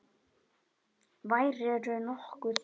Værirðu nokkuð.